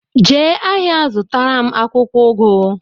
Jee ahịa zụtaram akwụkwọ ugu!